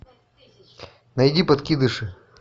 найди подкидыши